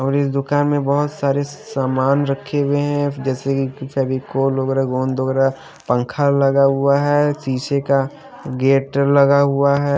और इस दुकान मे बहोत सारे सामान रखे हुए है जैसे कि फेविकोल वगैरा गोंद वगैरा पंखा लगा हुआ है शीशे का गेट लगा हुआ है।